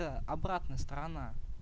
это обратная сторона